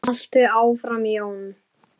Haltu áfram Jón!